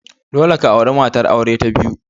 Dole ka auri matar aure ta biyu!